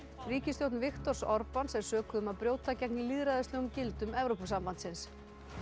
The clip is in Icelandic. ríkisstjórn Viktors er sökuð um að brjóta gegn lýðræðislegum gildum Evrópusambandsins